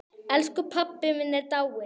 Elsku pabbi minn er dáinn.